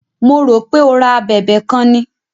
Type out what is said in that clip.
Mo rò pé o ra a abẹ̀bẹ̀ kan ni.